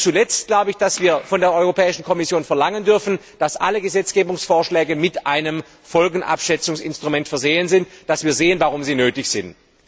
Und zuletzt glaube ich, dass wir von der Europäischen Kommission verlangen dürfen, dass alle Gesetzgebungsvorschläge mit einem Folgenabschätzungsinstrument versehen sind, dass wir sehen, warum sie nötig sind.